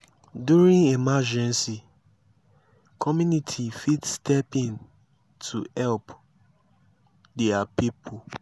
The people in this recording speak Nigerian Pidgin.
during emergency community fit step in to help their pipo